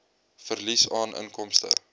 verlies aan inkomste